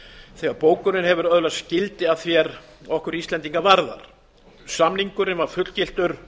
þegar bókunin hefur öðlast gildi að því er okkur íslendinga varðar samningurinn var fullgiltur